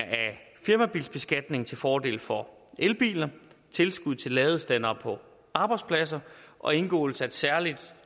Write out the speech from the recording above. firmabilbeskatningen til fordel for elbiler tilskud til ladestandere på arbejdspladser og indgåelse af en særlig